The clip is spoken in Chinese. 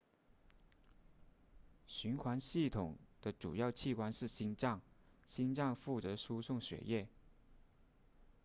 循环系统的主要器官是心脏心脏负责输送血液